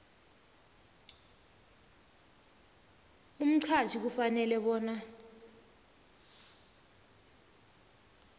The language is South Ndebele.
umqhatjhi ufanele bona